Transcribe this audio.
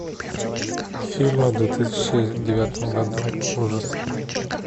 фильмы в две тысячи девятом году ужасы